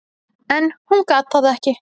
En hún gat það ekki.